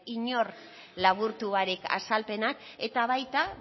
inork laburtu barik azalpenak eta baita